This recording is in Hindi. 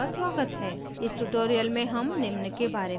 इस tutorial में हम निम्न के बारे में सीखेंगे